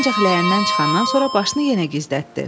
Ancaq ləyəndən çıxandan sonra başını yenə gizlətdi.